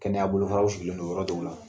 Kɛnɛya bolofaraw sigilen do yɔrɔ dɔw la